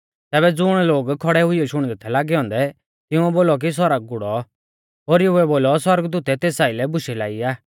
तैबै ज़ुण लोग खौड़ै हुइयौ शुणदै थै लागै औन्दै तिंउऐ बोलौ कि सौरग गुड़ौ ओरीउऐ बोलौ सौरगदूतै तेस आइलै बुशै लाई आ